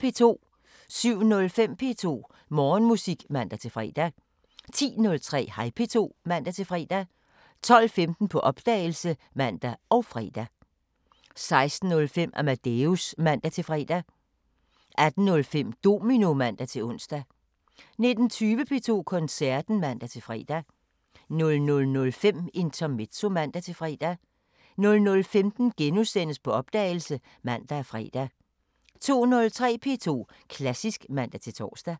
07:05: P2 Morgenmusik (man-fre) 10:03: Hej P2 (man-fre) 12:15: På opdagelse (man og fre) 16:05: Amadeus (man-fre) 18:05: Domino (man-ons) 19:20: P2 Koncerten (man-fre) 00:05: Intermezzo (man-fre) 00:15: På opdagelse *(man og fre) 02:03: P2 Klassisk (man-tor)